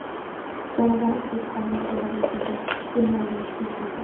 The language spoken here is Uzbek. Jonajon O‘zbekistonimiz gullab-yashnasin, dunyomiz tinch bo‘lsin!